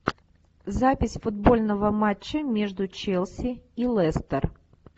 запись футбольного матча между челси и лестер